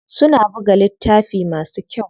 Suna buga littafi masu kyau.